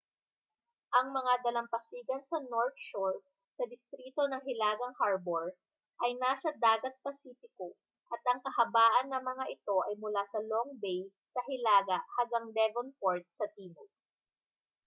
ang mga dalampasigan sa north shore sa distrito ng hilagang harbour ay nasa dagat pasipiko at ang kahabaan ng mga ito ay mula sa long bay sa hilaga hanggang devonport sa timog